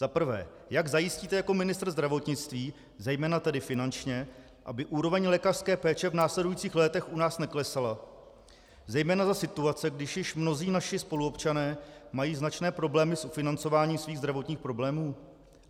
Za prvé, jak zajistíte jako ministr zdravotnictví, zejména tedy finančně, aby úroveň lékařské péče v následujících létech u nás neklesala zejména za situace, když již mnozí naši spoluobčané mají značné problémy s financováním svých zdravotních problémů.